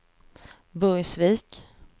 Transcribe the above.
Burgsvik